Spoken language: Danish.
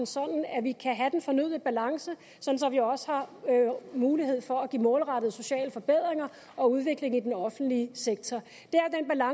sådan at vi kan have den fornødne balance og også har mulighed for at give målrettede sociale forbedringer og udvikle den offentlige sektor